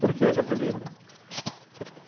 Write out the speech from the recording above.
Por que esse apelido?